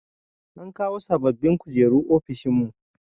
An kawo sababbin kujeru ofishin mu.